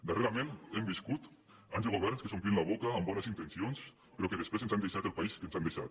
darrerament hem viscut anys de governs que s’om·plien la boca amb bones intencions però que després ens han deixat el país que ens han deixat